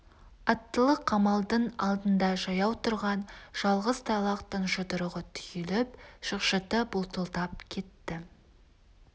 аттылы қамалдың алдында жаяу тұрған жалғыз тайлақтың жұдырығы түйіліп шықшыты бұлтылдап кетті